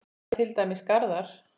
Þar eru til dæmis garðar.